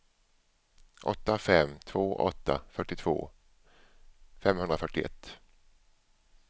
åtta fem två åtta fyrtiotvå femhundrafyrtioett